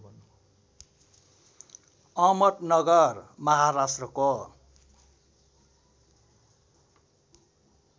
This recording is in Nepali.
अहमदनगर महाराष्ट्रको